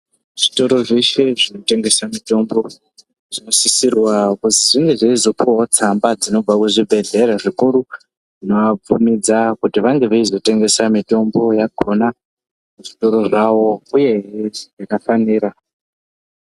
Zvitoro zvese zvinotengesa mutombo zvinosisirwa kuti zvinge zveizopuwawo tsamba dzinobva kuzvibhedhlera zvikuru zvinoabvumidza kuti vange veizotengesa mitombo yakona muzvitoro zvawo uyee hee yakafanira.